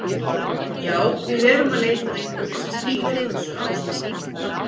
Já, við erum að leita að einhverju sem stýrir þessu ástandi.